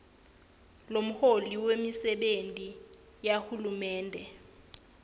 lomholi wemisebenti yahulumende